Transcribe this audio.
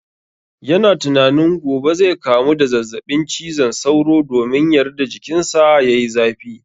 Ya na tunanin gobe zai kamu da zazzaɓin cizon sauro domin yarda jikin sa yayi zafi